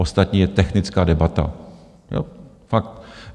Ostatní je technická debata, fakt.